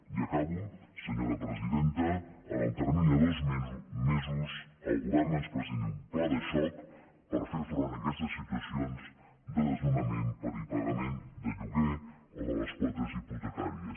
i acabo senyora presidenta en el termini de dos mesos el govern ens presenti un pla de xoc per fer front en aquestes situacions de desnonament per impagament de lloguer o de les quotes hipotecàries